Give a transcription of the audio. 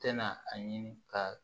Tɛna a ɲini ka